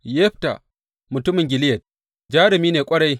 Yefta mutumin Gileyad, jarumi ne ƙwarai.